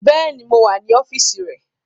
Béèni, mo wà ní ọ́fíìsì rẹ̀